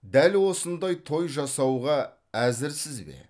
дәл осындай той жасауға әзірсіз бе